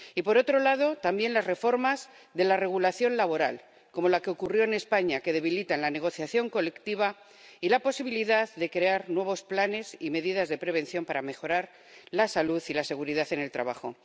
Y, por otro lado, también están las reformas de la regulación laboral, como la que ocurrió en España, que debilitan la negociación colectiva y la posibilidad de crear nuevos planes y medidas de prevención para mejorar la salud y la seguridad en el trabajo.